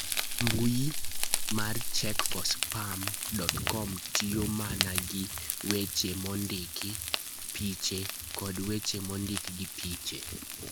mbui mar check4spam.com tiyo mana gi weche mondiki, piche, koda weche mondik gi piche.